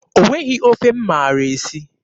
O nweghị ofe m maara esi.